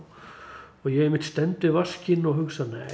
og ég einmitt stend við vaskinn og hugsa